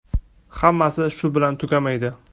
Hammasi shu bilan tugamaydi!